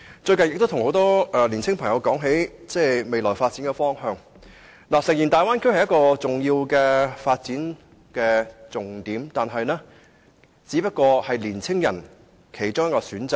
最近，我與很多年輕朋友談到香港的未來發展方向，大家都同意大灣區是一個重點，但也只不過是青年人的其中一個選擇而已。